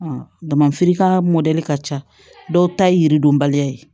damafiri ka mɔdɛli ka ca dɔw ta ye yiridɔnbaliya ye